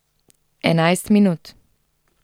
Enajst minut.